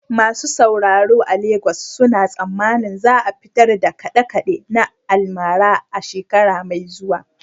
Masu sauraro a Legas suna tsammanin za a fitar da kaɗe-kaɗe na almara a shekara mai zuwa.